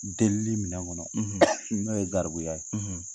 Delili minɛ kɔnɔ n'o ye garibuya ye.